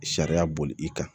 Sariya boli i kan